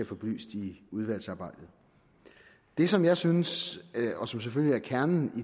få belyst i udvalgsarbejdet det som jeg synes og som selvfølgelig er kernen